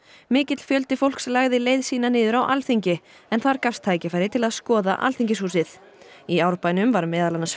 mikill fjöldi fólks lagði leið sína niður á Alþingi en þar gafst tækifæri til að skoða Alþingishúsið í Árbænum var meðal annars